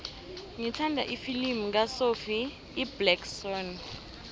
ngithanda ifilimu kasophie iblack swann